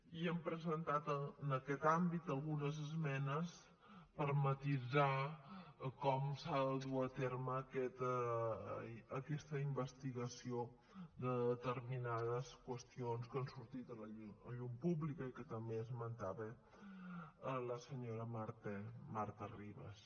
i hem presentat en aquest àmbit algunes esmenes per matisar com s’ha de dur a terme aquesta investigació de determinades qüestions que han sortit a la llum pública i que també esmentava la senyora marta ribas